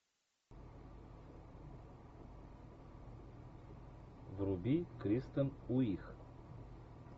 вруби кристен уих